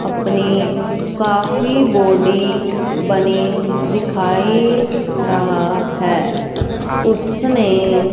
अपनी काफी बॉडी बनी दिखाई रहा है उसने--